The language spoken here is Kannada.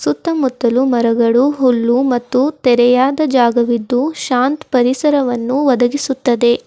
ಸುತ್ತ ಮುತ್ತಲು ಮರಗಳು ಹುಲ್ಲು ಮತ್ತು ತೆರೆಯಾದ ಜಾಗವಿದ್ದು ಶಾಂತ್ ಪರಿಸರವನ್ನು ಒದಗಿಸುತ್ತದೆ.